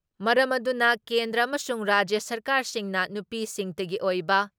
ꯃꯔꯝ ꯑꯗꯨꯅ ꯀꯦꯟꯗ꯭ꯔ ꯑꯃꯁꯨꯡ ꯔꯥꯖ꯭ꯌ ꯁꯔꯀꯥꯔꯁꯤꯡꯅ ꯅꯨꯄꯤꯁꯤꯡꯇꯒꯤ ꯑꯣꯏꯕ